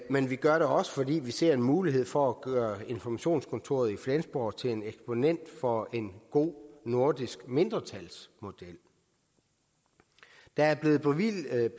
men vi gør det også fordi vi ser en mulighed for at gøre informationskontoret i flensborg til en eksponent for en god nordisk mindretalsmodel der er blevet bevilget